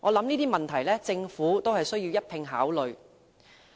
這些問題均是政府須一併考慮的。